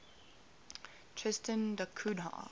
tristan da cunha